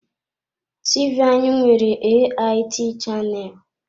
TV anyị nwere AIT chaneelu.